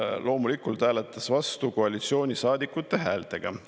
Loomulikult hääletas ta vastu koalitsioonisaadikute häältega.